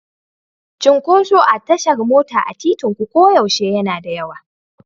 Cunkoso a tashar mota a titinku koyaushe yana da yawa.